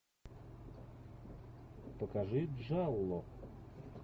покажи джалло